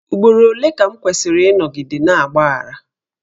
Ugboro ole ka m kwesịrị ịnọgide na-agbaghara?